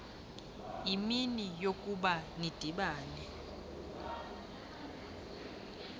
imini eyokuba nidibane